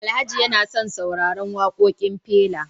Alhaji yana son sauraran wakokin Fela